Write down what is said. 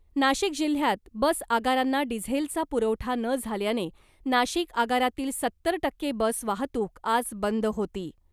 नाशिक जिल्ह्यात बस आगारांना डिझेलचा पुरवठा न झाल्याने , नाशिक आगारातील सत्तर टक्के बस वाहतुक आज बंद होती .